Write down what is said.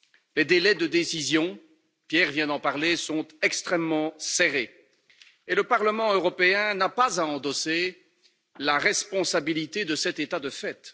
Les délais de décision, Pierre Larrouturou vient d'en parler, sont extrêmement serrés et le Parlement européen n'a pas à endosser la responsabilité de cet état de fait.